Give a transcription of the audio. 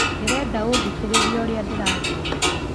Ndĩrenda ũthikĩrĩrĩe ũrĩa ndĩrathoma